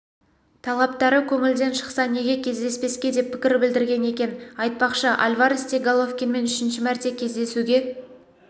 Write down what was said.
талаптары көңілден шықса неге кездеспеске деп пікір білдірген екен айтпақшы альварес те головкинмен үшінші мәрте кездесуге